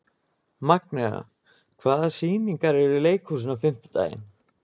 Magnea, hvaða sýningar eru í leikhúsinu á fimmtudaginn?